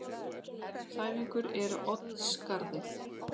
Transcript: Þæfingur er á Oddsskarði